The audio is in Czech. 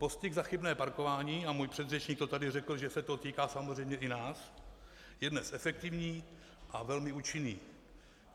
Postih za chybné parkování, a můj předřečník to tady řekl, že se to týká samozřejmě i nás, je dnes efektivní a velmi účinný.